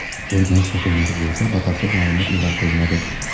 O‘rganish yakunlari bo‘yicha batafsil ma’lumot e’lon qilinadi.